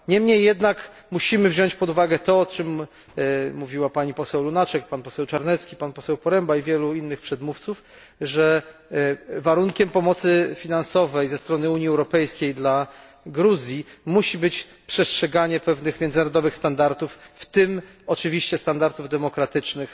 Niemniej jednak musimy wziąć pod uwagę to, o czym mówiła pani poseł Lunacek, pan poseł Czarnecki, pan poseł Poręba i wielu innych przedmówców, że warunkiem pomocy finansowej ze strony Unii Europejskiej dla Gruzji musi być przestrzeganie pewnych międzynarodowych standardów, w tym oczywiście standardów demokratycznych.